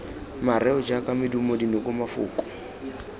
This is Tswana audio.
mareo jaaka medumo dinoko mafoko